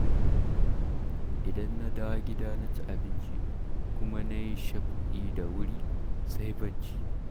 Idan na dawo gida na ci abinci, kuma na yi shaf'i da wuri, sai bacci.